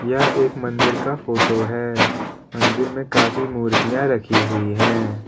यह एक मंदिर का फोटो है मंदिर में काफी मूर्तियां रखी हुई हैं।